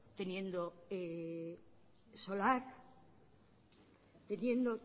teniendo solar teniendo